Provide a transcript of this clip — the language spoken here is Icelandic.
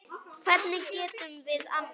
Hvernig getum við annað?